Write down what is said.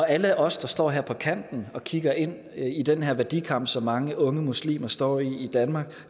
alle os der står her på kanten og kigger ind i den her værdikamp som mange unge muslimer står i i danmark